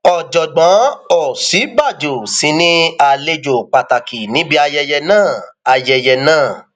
ọjọgbọn òsínbàjò sì ni àlejò pàtàkì níbi ayẹyẹ náà ayẹyẹ náà